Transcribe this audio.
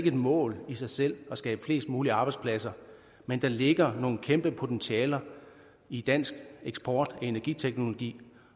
et mål i sig selv at skabe flest mulige arbejdspladser men der ligger nogle kæmpe potentialer i dansk eksport af energiteknologi